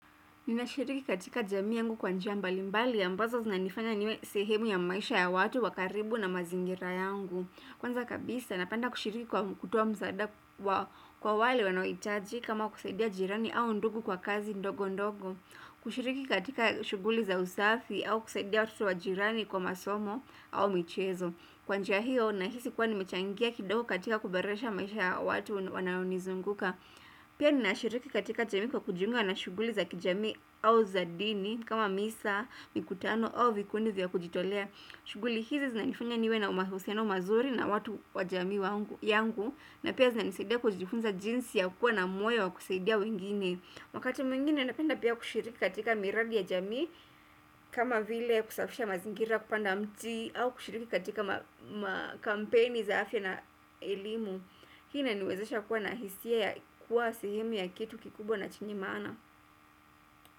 Ninashiriki katika jamii yangu kwa njia mbalimbali ambazo zinanifanya niwe sehemu ya maisha ya watu wa karibu na mazingira yangu. Kwanza kabisa napenda kushiriki kwa kutoa msaada kwa wale wanaohitaji kama kusaidia jirani au ndugu kwa kazi ndogo ndogo. Kushiriki katika shughuli za usafi au kusaidia watoto wa jirani kwa masomo au michezo. Kwa njia hiyo nahisi kuwa nimechangia kidogo katika kuboresha maisha ya watu wanaonizunguka. Pia ninashiriki katika jamii kwa kujiunga na shughuli za kijami au za dini kama misa, mikutano au vikundi vya kujitolea shughuli hizi zinanifanya niwe na mahusiano mazuri na watu wa jami yangu na pia zinanisaidia kujifunza jinsi ya kuwa na moyo wa kusaidia wengine Wakati mwingine napenda pia kushiriki katika miradi ya jami kama vile kusafisha mazingira kupanda mti au kushiriki katika kampeni za afya na elimu Hii inaniwezesha kuwa na hisia ya kuwa sehemu ya kitu kikubwa na chenye maana.